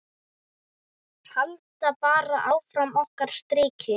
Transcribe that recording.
Halda bara áfram okkar striki.